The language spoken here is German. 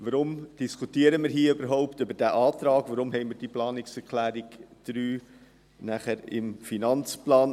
Warum diskutieren wir hier überhaupt über diesen Antrag, warum haben wir diese Planungserklärung 3 im Finanzplan?